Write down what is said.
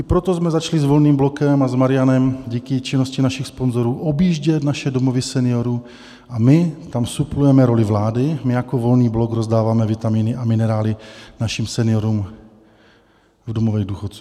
I proto jsme začali s Volným blokem a s Marianem díky činnosti našich sponzorů objíždět naše domovy seniorů a my tam suplujeme roli vlády, my jako Volný blok rozdáváme vitaminy a minerály našim seniorům v domovech důchodců.